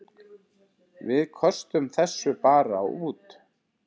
Við köstum þessu bara út.